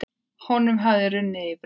Honum hafði runnið í brjóst.